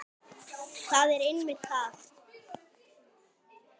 Það er einmitt það!